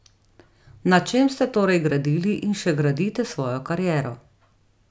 Na čem ste torej gradili in še gradite svojo kariero?